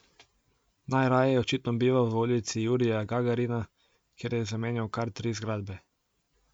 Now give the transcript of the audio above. Najraje je očitno bival v Ulici Jurija Gagarina, kjer je zamenjal kar tri zgradbe.